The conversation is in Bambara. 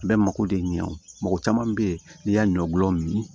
A bɛ mako de ɲɛ o mɔgɔ caman bɛ yen n'i y'a ɲɔ gulɔ min